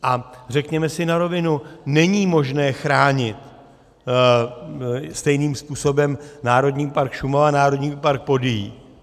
A řekněme si na rovinu, není možné chránit stejným způsobem Národní park Šumava, Národní park Podyjí.